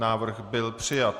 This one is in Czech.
Návrh byl přijat.